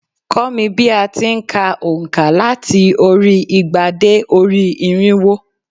Kọ́ mi bí a ti n ka ònkà láti orí igba dé orí irínwó